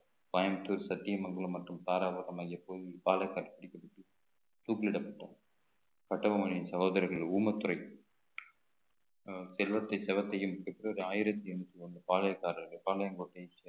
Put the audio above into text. கோயம்புத்தூர் சத்தியமங்கலம் மற்றும் தாராபுரம் பாடல் கண்டுபிடிக்கப்பட்டு தூக்கிலிடப்பட்டோம் கட்டபொம்மனின் சகோதரர்கள் ஊமைத்துரை அஹ் செல்வத்தை சவத்தையும் பெற்றோர் ஆயிரத்தி எண்ணூத்தி ஒண்ணு பாளையக்காரர்கள் பாளையங்கோட்டை